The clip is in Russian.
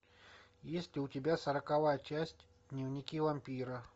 есть ли у тебя сороковая часть дневники вампира